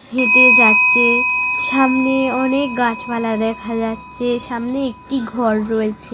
হেঁটে যাচ্ছে। সামনে অনেক গাছপালা দেখা যাচ্ছে। সামনে একটি ঘর রয়েছে।